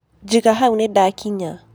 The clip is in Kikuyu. Jĩga haũ nĩndakinya.